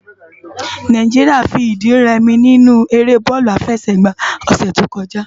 Nàijiriá fi idi rè mi ninú éré bòlú àfèsègbá lòsè tókòjá